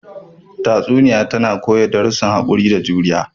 Tatsuniya tana koya darussan haƙuri da juriya.